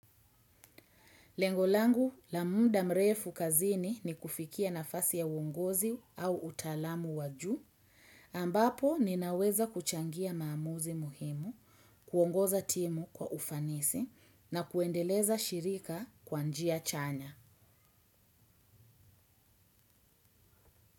Lengo langu la muda mrefu kazini ni kufikia nafasi ya uongozi au utaalamu wajuu, ambapo ninaweza kuchangia maamuzi muhimu, kuongoza timu kwa ufanisi na kuendeleza shirika kwa njia chanya.